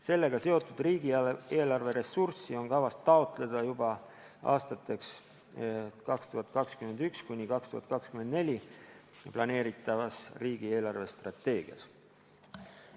Sellega seotud riigieelarve ressurssi on kavas taotleda juba aastateks 2021–2024 planeeritavas riigi eelarvestrateegias.